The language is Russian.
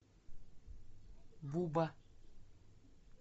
буба